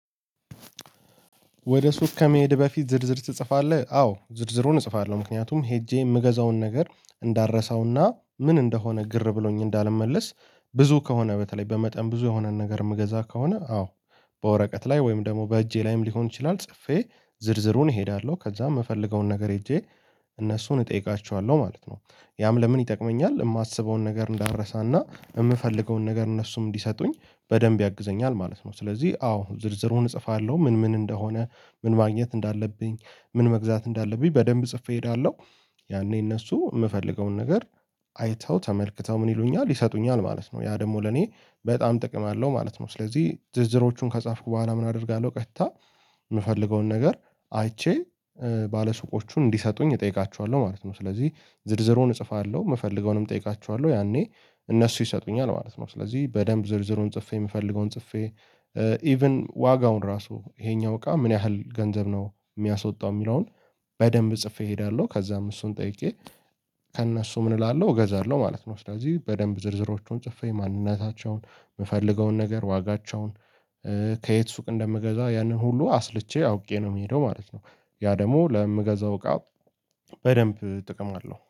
ወደ ሱቅ ከመሄድ በፊት ዝርዝር ትጽፋለህ? አዎ ዝርዝሩን እጽፋለሁ ምክንያቱም ሄጄ የምገዛውን ነገር እንዳረሳውና ምን እንደሆነ ግር ብሎኝ እንዳልመለስ ብዙ ከሆነ በተለይ በመጠን ብዙ የሆነን ነገር የምገዛ ከሆነ አዎ። በወረቀት ላይ ወይም ደግሞ በእጄ ላይም ሊሆን ይችላል ጽፌ ዝርዝሩን እሄዳለሁ ከዛ የምፈልገውን ነገር ሄጄ እነሱን እጠይቃቸዋለሁ ማለት ነው። ያም ለምን ይጠቅመኛል የማስበውን ነገር እንዳረሳና የምፈልገውን ነገር እነሱም እንዲሰጡኝ በደንብ ያግዘኛል ማለት ነው። ስለዚህ አዎ ዝርዝሩን እጽፋለሁ ምን ምን እንደሆነ ምን ማግኘት እንዳለብኝ ምን መግዛት እንዳለብኝ በደንብ ጽፌ እሄዳለሁ። ያኔ እነሱ የምፈልገውን ነገር አይተው ተመልክተው ምን ይሉኛል ይሰጡኛል ማለት ነው። ያ ደግሞ ለኔ በጣም ጥቅም አለው ማለት ነው። ስለዚህ ዝርዝሮቹን ከጻፍኩ በኋላ ምን አደርጋለሁ ቀጥታ የምፈልገውን ነገር አይቼ ባለሱቆቹን እንዲሰጡኝ እጠይቃችኋለሁ ማለት ነው። ስለዚህ ዝርዝሩን እጽፋለሁ የምፈልገውንም እጠይቃችኋለሁ ያኔ እነሱ ይሰጡኛል ማለት ነው። ስለዚህ በደንብ ዝርዝሩን ጽፌ የምፈልገውን ጽፌ ኢቭን ዋጋውን ራሱ ይሄኛው እቃ ምን ያህል ገንዘብ ነው የሚያስወጣው የሚለውን በደንብ ጽፌ እሄዳለሁ። ከዛም እሱን ጠይቄ ከእነሱ ምን እላለሁ እገዛለሁ ማለት ነው። ስለዚህ በደንብ ዝርዝሮቹን ጽፈኝ ማንነታቸውን የምፈልገውን ነገር ዋጋቸውን ከየት ሱቅ እንደምገዛ ያንን ሁሉ አስልቼ አውቄ ነው የምሄደው ማለት ነው። ያ ደግሞ ለምገዛው እቃ በደንብ ጥቅም አለው